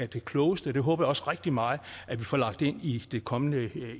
det klogeste og det håber jeg også rigtig meget at vi får lagt ind i det kommende